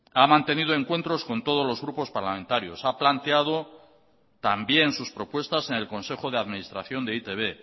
ha mantenido encuentros con todos los grupos parlamentarios ha planteado también sus propuestas en el consejo de administración de e i te be